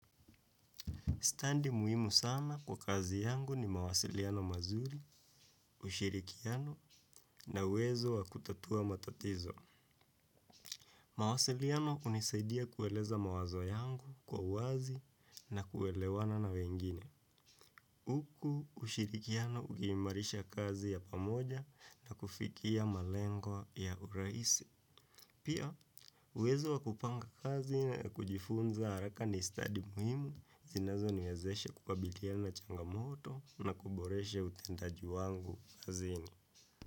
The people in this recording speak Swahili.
Standi muhimu sana kwa kazi yangu ni mawasiliano mazuri, ushirikiano na uwezo wa kutatuwa matatizo. Mawasiliano hunisaidia kueleza mawazo yangu kwa uwazi na kuelewana na wengine. Huku ushirikiano uki imarisha kazi ya pamoja na kufikia malengo ya urahisi. Pia, uwezo wakupanga kazi na kujifunza haraka ni stadi muhimu, zinazo niwezeshe kukabiliana changamoto na kuboreshe utendaji wangu kazini.